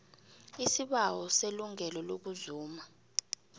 isibawo selungelo lokuzuma